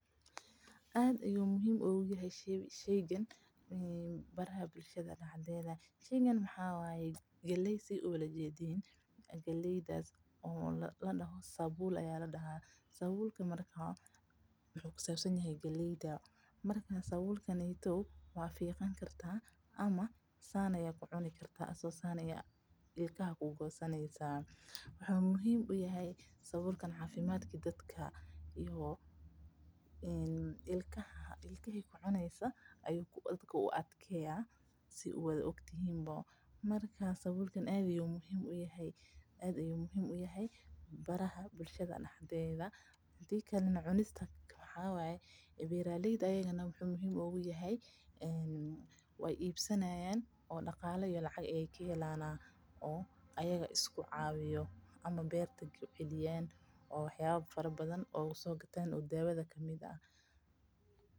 Aad ayuu muhiim ugu yahay sheeygan bulshada waxaa waye galeey ladoho sabuul waa fiiqan kartaa ama saan ayaa kucuni kartaa, wuxuu muhiim uyahay cafimaadka dadka ama ilkaha ayuu u adkeeya dadka, aad ayuu muhiim uyahay bulshada dexdeeda, beeraleyda ayagana lacag ayeey ka helayaan oo daawo kusoo gataan.